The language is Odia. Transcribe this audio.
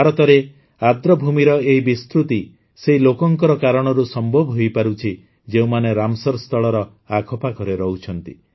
ଭାରତରେ ଆର୍ଦଭୂମିର ଏହି ବିସ୍ତୃତି ସେହି ଲୋକଙ୍କ କାରଣରୁ ସମ୍ଭବ ହୋଇପାରୁଛି ଯେଉଁମାନେ ରାମସର ସ୍ଥଳର ଆଖପାଖରେ ରହୁଛନ୍ତି